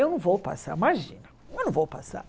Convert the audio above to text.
Eu não vou passar, imagina, eu não vou passar.